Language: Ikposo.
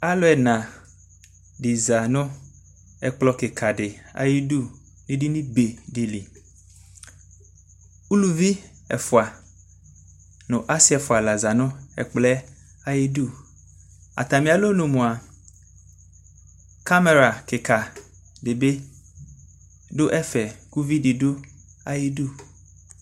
alʋ ɛna sizanʋ ɛkplɔ kikaa di ayidʋ, ɛdini bɛ dili, ʋlʋvi ɛƒʋa nʋ asii ɛƒʋa la zanʋ ɛkplɔɛ ayidʋ, atami alɔnʋ mʋa camera kikaa dibi dʋ ɛƒɛ kʋ ʋvidi dʋ ayidʋ